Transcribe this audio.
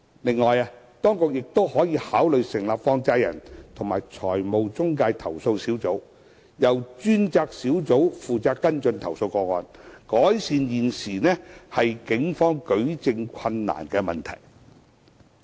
另外，當局亦可考慮成立放債人及財務中介投訴小組，由專責小組負責跟進投訴個案，改善現時警方舉證困難的問題。